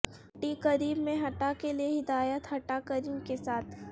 ھٹی cream میں ھٹا کے لئے ہدایت ھٹا کریم کے ساتھ